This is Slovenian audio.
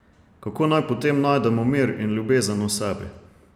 Kako naj potem najdemo mir in ljubezen v sebi?